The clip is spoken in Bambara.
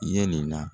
Yelen na